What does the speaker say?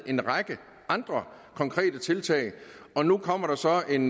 en række andre konkrete tiltag og nu kommer der så en